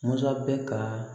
Masa bɛ ka